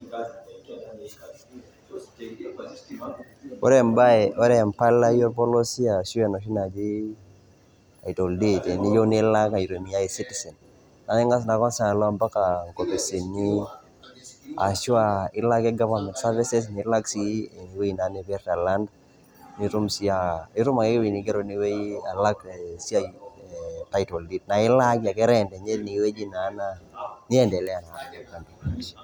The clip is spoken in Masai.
Ore embae, ore empalai orpolosie ashu enoshi naji title deed teniyieu nilak aitumia e-citizen naing`as naa kwanza alo mpaka nkopisini. Ashu aa ilo ake goverment services nilak sii ewueji naa nipirta land. Nitum sii aa nitum sii ewueji nigero tine wueji alak esiai e title deed naa ilaaki ake rent teine wueji naa niendelea.